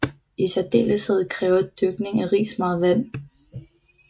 I særdeleshed kræver dyrkning af ris meget vand